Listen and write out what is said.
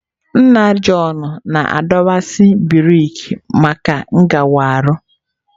Nna Jọn na-adọkwasị brik maka ngere ahụ.